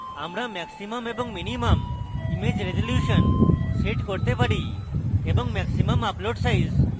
আমরা maximum এবং minimum image resolution ও set করেত পারি এবং maximum upload size